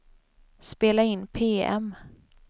spela in PM